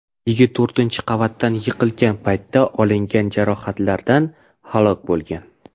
Yigit to‘rtinchi qavatdan yiqilgan paytda olingan jarohatlardan halok bo‘lgan.